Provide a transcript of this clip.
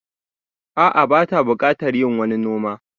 A'a bata buƙatar yin wani noma